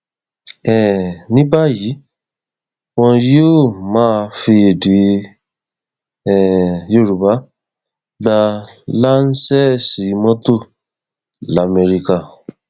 um ní báyìí wọn yóò máa fi èdè um yorùbá gbá làǹṣeǹsì mọtò lamẹríkà